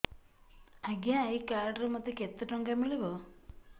ଆଜ୍ଞା ଏଇ କାର୍ଡ ରେ ମୋତେ କେତେ ଟଙ୍କା ମିଳିବ